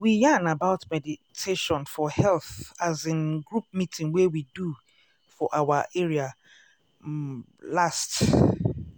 we yarn about meditation for health as in group meeting wey we do for our area um last.